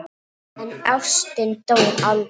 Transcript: En ástin dó aldrei.